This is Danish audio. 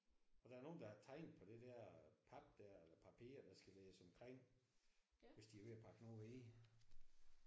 Og der er nogen der har tegnet på det der pap der eller papir der skal lægges omkring hvis de er ved at pakke noget ind